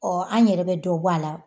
an ɲɛrɛ bɛ dɔ bɔ a la